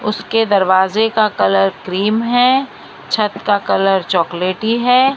उसके दरवाजे का कलर क्रीम है छत का कलर चॉकलेटी है।